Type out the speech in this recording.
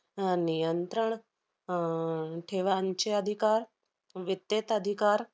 अह नियंत्रण, अह ठेवांचे अधिकार, वित्यत अधिकार,